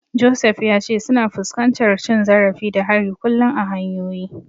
Joseph ya ce suna fuskantar cin zarafi da hari kullum a hanyoyi.